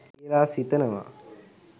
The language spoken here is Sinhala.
කියල සිතනවා.